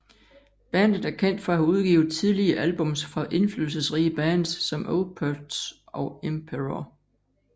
Bandet er kendt for at have udgivet tidlige albums fra indflydelsesrige bands som Opeth og Emperor